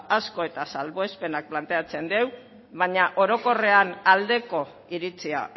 asko eta salbuespenak planteatzen dau baina orokorrean aldeko iritzia